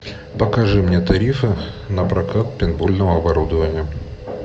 покажи мне тарифы на прокат пейнтбольного оборудования